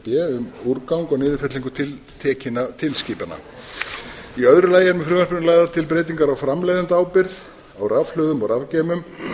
b um úrgang og niðurfellingu tiltekinna tilskipana í öðru lagi er með frumvarpinu lagðar til breytingar á framleiðendaábyrgð á rafhlöðum og rafgeymum